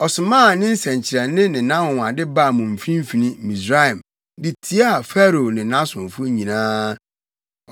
Ɔsomaa ne nsɛnkyerɛnne ne nʼanwonwade baa mo mfimfini, Misraim, de tiaa Farao ne nʼasomfo nyinaa.